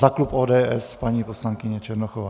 Za klub ODS paní poslankyně Černochová.